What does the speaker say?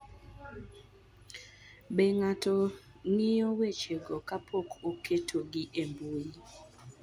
Be ng�ato ng�iyo wechego kapok oketgi e mbui